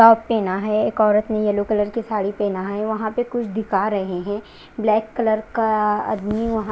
top पहना है एक औरत ने येलो कलर की साड़ी पहना है वहां पर कुछ दिखा रहे हैं ब्लैक कलर का आदमी वहां--